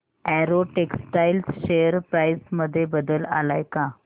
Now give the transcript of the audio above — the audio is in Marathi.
अॅरो टेक्सटाइल्स शेअर प्राइस मध्ये बदल आलाय का